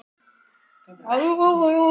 Ég fylltist ólýsanlegum fögnuði og þakklæti.